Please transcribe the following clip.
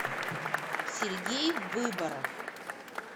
сергей выборов